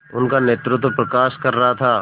उनका नेतृत्व प्रकाश कर रहा था